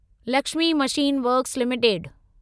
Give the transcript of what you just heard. Lakshmi machine works limited